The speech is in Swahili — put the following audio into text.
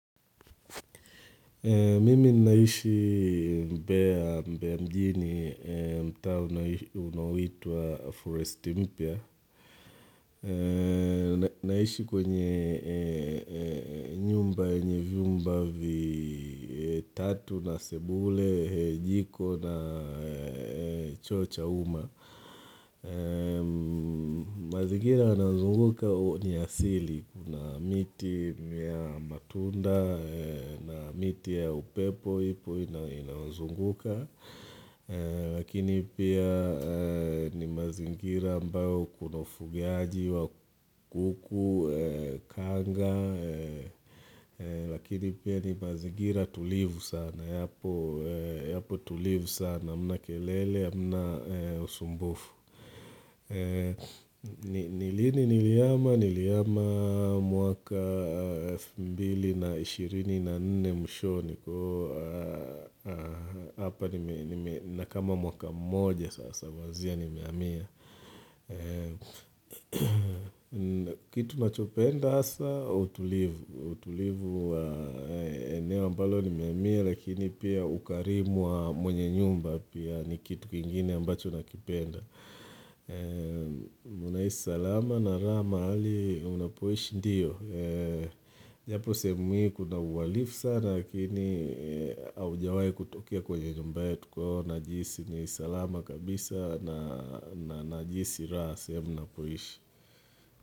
Mimi ninaishi mbea mjini mtaa unaoitwa Forest Impia. Naishi kwenye nyumba yenye vyumba vi tatu na sebule, jiko na choo cha uma. Mazingira yanayozunguka ni asili Kuna miti ya matunda na miti ya upepo ipo inazunguka Lakini pia ni mazingira ambayo kuna ufugiaji wa kuku, kanga Lakini pia ni mazingira tulivu sana Yapo tulivu sana, hamna kelele, hamna usumbufu ni lini nilihama, nilihama mwaka elfu mbili na ishirini na nne mwishoni hapa nina kama mwaka mmoja sasa kuanzia nimehamia Kitu nachopenda hasa utulivu utulivu eneo mbalo nimehamia lakini pia ukarimu wa mwenye nyumba pia ni kitu kingine ambacho nakipenda unaishi salama na raha mahali unapoishi ndiyo Japo sehemu hii kuna uhalifu sana Lakini haujawai kutokea kwenye nyumba yenye tuko Najihisi ni salama kabisa na najihisi raha sehemu napoishi.